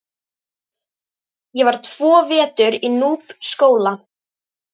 Ég var tvo vetur í Núpsskóla.